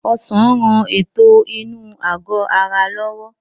Ọsàn ń rán ètò inú àgbò ara lọ́wọ́